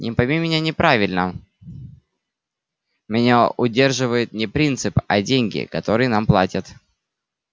ни пойми меня правильно меня удерживает не принцип а деньги которые нам платят